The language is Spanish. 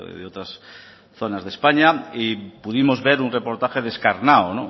de otras zonas de españa y pudimos ver un reportaje descarnado